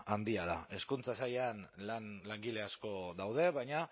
handia da hezkuntza sailean langile asko daude baina